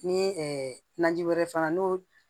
Ni naji wɛrɛ fana n'o